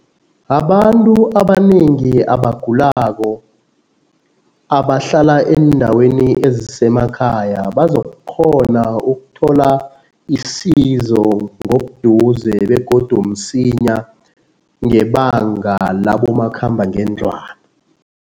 Abantu abanengi abagulako abahlala eendaweni ezisemakhaya bazokukghona ukuthola isizo ngobuduze begodu msinya ngebanga labomakhamba ngendlwana.